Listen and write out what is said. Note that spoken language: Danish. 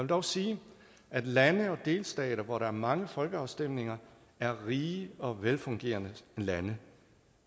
dog sige at lande og delstater hvor der er mange folkeafstemninger er rige og velfungerende lande